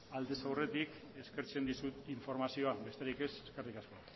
aldez aurretik eskertzen dizut informazioa besterik ez eskerrik asko